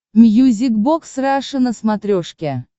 мьюзик бокс раша на смотрешке